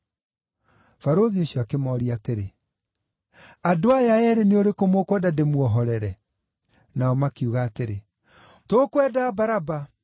Barũthi ũcio akĩmooria atĩrĩ, “Andũ aya eerĩ nĩ ũrĩkũ mũkwenda ndĩmuohorere?” Nao makiuga atĩrĩ, “Tũkwenda Baraba.”